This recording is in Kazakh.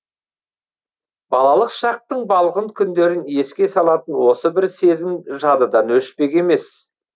балалық шақтың балғын күндерін еске салатын осы бір сезім жадыдан өшпек емес